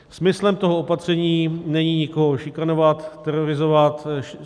Smyslem toho opatření není nikoho šikanovat, terorizovat.